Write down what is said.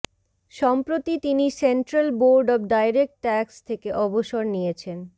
সম্প্রতি তিনি central board of direct tax থেকে অবসর নিয়েছেন